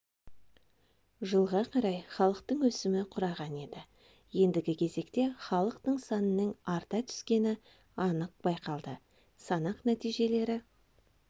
жылға қарай халықтың өсімі құраған еді ендігі кезекте халықтың санының арта түскені анық байқалды санақ нәтижелері